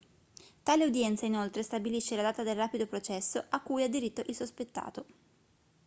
tale udienza inoltre stabilisce la data del rapido processo a cui ha diritto il sospettato